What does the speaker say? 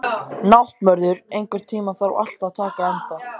Náttmörður, einhvern tímann þarf allt að taka enda.